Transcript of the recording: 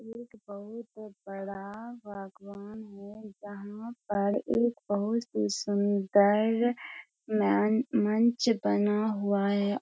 एक बहुत बड़ा भगवन है जहां पर एक बहुत ही सुन्दर मं मंच बना हुआ है।